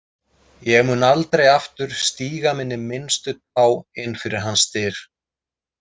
Ég mun aldrei aftur stíga minni minnstu tá inn fyrir hans dyr.